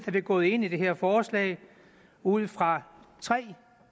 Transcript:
er vi gået ind i det her forslag ud fra tre